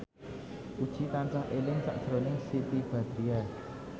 Puji tansah eling sakjroning Siti Badriah